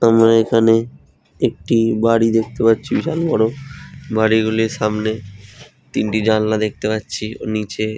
আমরা এই খানে একটি বাড়ি দেখতে পারছি বিশাল বড়ো বাড়িগুলিব় সামনে তিনটি জানলা দেখতে পাচ্ছি। ও নীচে--